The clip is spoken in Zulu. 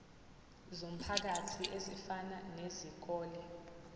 zomphakathi ezifana nezikole